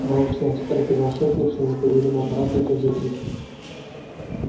молчать приказал шеф ни в чём не повинному аппарату и тот затих